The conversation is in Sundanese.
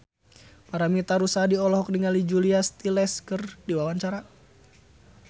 Paramitha Rusady olohok ningali Julia Stiles keur diwawancara